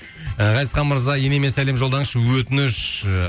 ғазизхан мырза енеме сәлем жолдаңызшы өтініш